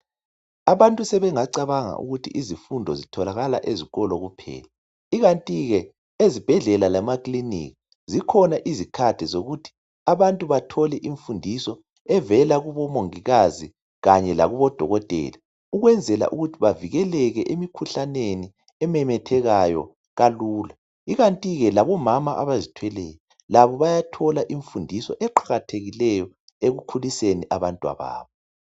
Abantu sebengacabanga ukuthi izifundo zitholakala ezikolo kuphela, ikanti ke ezibhedlela lemakliniki zikhona izikhathi zokuthi abantu bathole imfundiso evela kubomongikazi kanye lakubodokotela ukwenzela ukuthi bavikeleke emikhuhlaneni ememethekayo kalula. Ikanti ke labomama abazithweleyo labo bayathola imfundiso eqakathekileyo ekukhuliseni abantwababo.